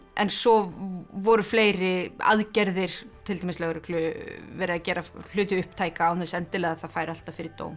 en svo voru fleiri aðgerðir til dæmis lögreglu verið að gera hluti upptæka án þess endilega að það færi alltaf fyrir dóm